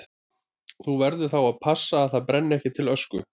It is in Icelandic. Þú verður þá að passa að það brenni ekki til ösku.